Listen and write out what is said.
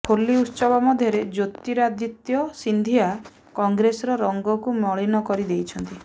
ହୋଲି ଉତ୍ସବ ମଧ୍ୟରେ ଜ୍ୟୋତିରାଦିତ୍ୟ ସିନ୍ଧିଆ କଂଗ୍ରେସର ରଙ୍ଗକୁ ମଳିନ କରି ଦେଇଛନ୍ତି